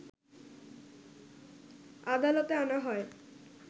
আদালতে আনা হয়